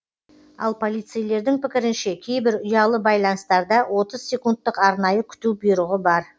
ал полицейлердің пікірінше кейбір ұялы байланыстарда отыз секундтық арнайы күту бұйрығы бар